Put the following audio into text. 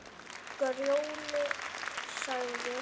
Grjóni sagði